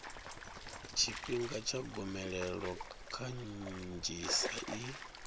tshifhinga tsha gomelelo kanzhisa i